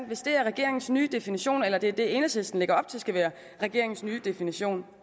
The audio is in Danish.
hvis det er regeringens nye definition eller det er det enhedslisten lægger op til skal være regeringens ny definition